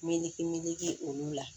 Meleke meleke olu la